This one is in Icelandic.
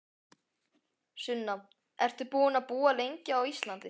Sunna: Ertu búinn að búa lengi á Íslandi?